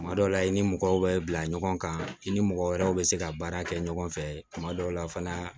Kuma dɔw la i ni mɔgɔw bɛ bila ɲɔgɔn kan i ni mɔgɔ wɛrɛw bɛ se ka baara kɛ ɲɔgɔn fɛ tuma dɔw la fana